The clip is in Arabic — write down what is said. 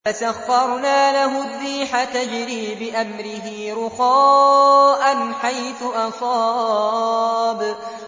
فَسَخَّرْنَا لَهُ الرِّيحَ تَجْرِي بِأَمْرِهِ رُخَاءً حَيْثُ أَصَابَ